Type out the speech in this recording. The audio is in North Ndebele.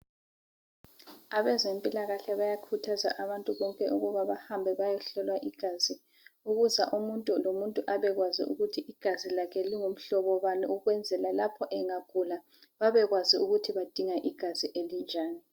Abezempilakahle bayakhuthaza abantu bonke ukuba bahambe bayehlolwa igazi, ukuza umuntu lomuntu abekwazi ukuthi igazi lakhe lingumhlobo bani ukwenzela lapho engagula babekwazi ukuthi badinga igazi elinjani.